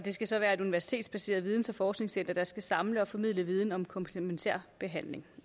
skal så være et universitetsbaseret videns og forskningscenter der skal samle og formidle viden om komplementær behandling